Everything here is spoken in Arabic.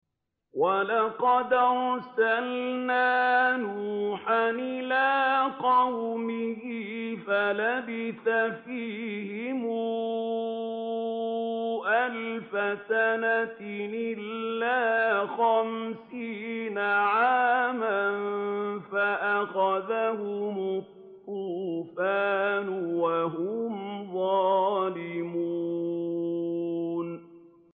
وَلَقَدْ أَرْسَلْنَا نُوحًا إِلَىٰ قَوْمِهِ فَلَبِثَ فِيهِمْ أَلْفَ سَنَةٍ إِلَّا خَمْسِينَ عَامًا فَأَخَذَهُمُ الطُّوفَانُ وَهُمْ ظَالِمُونَ